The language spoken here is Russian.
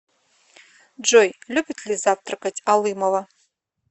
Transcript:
джой любит ли завтракать алымова